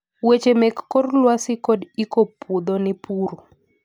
Weche mek kor lwasi kd iko puodho ne puro